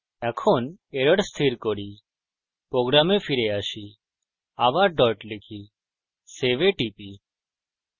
এখন error স্থির করি program ফিরে আসি আবার dot লিখি save a টিপি